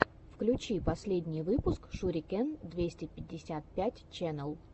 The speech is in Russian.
включи последний выпуск шурикен двести пятьдесят пять ченел